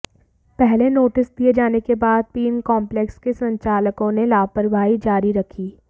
पहले नोटिस दिये जाने के बाद भी इन कोम्पलेक्स के संचालकों ने लापरवाही जारी रखी